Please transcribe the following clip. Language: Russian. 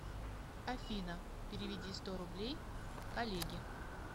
афина переведи сто рублей коллеге